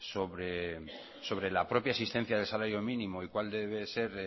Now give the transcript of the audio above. sobre la propia existencia del salario mínimo y cuál deber ser